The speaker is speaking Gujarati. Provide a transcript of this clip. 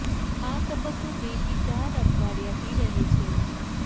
આ તબક્કો બે થી ચાર અઠવાડિયા થી રહે છે